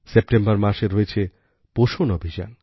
September মাসে রয়েছে পোষণ অভিযান